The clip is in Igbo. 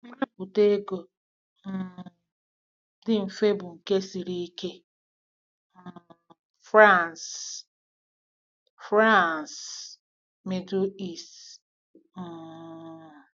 Nrapụta ego um dị mfe bụ nke siri ike. ” um — Franz, — Franz, Middle East. um